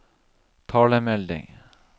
talemelding